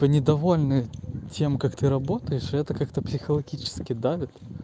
то недовольны тем как ты работаешь это как-то психологически давит